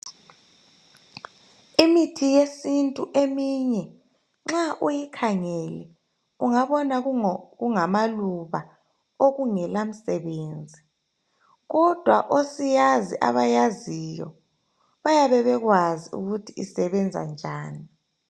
Imithi yesintu eminye, nxa uyikhangele ungabona kungamaluba okungela msebenzi. Kodwa osiyazi , abayaziyo bayabe bekwazi ukuthi isebenza njani.